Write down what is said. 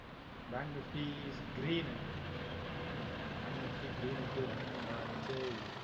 bank nifty green ங்க bank nifty green க்கு வந்தாச்சு